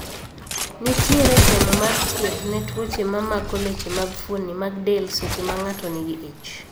Nitiere temo mar thiedh ne tuoche ma mako leche kod fuoni mag del seche ma ng'ato nigi ich